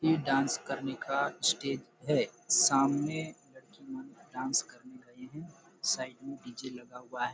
ये डांस करने का स्टेज है सामने लड़किया डान्स करने गई है साइड में डी.जे. लगा हुआ है।